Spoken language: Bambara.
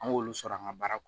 An k'olu sɔrɔ an ga baara kɔnɔ